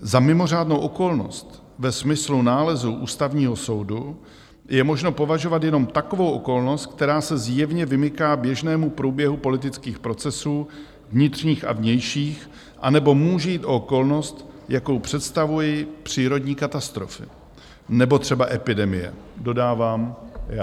Za mimořádnou okolnost ve smyslu nálezu Ústavního soudu je možno považovat jenom takovou okolnost, která se zjevně vymyká běžnému průběhu politických procesů vnitřních a vnějších, anebo může jít o okolnost, jakou představují přírodní katastrofy nebo třeba epidemie, dodávám já.